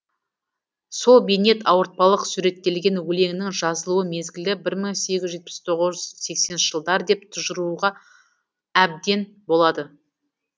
сол бейнет ауыртпалық суреттелген өлеңнің жазылу мезгілі бір мың сегіз жүз жетпіс тоғыз сексенінші жылдар деп тұжыруға әбден болады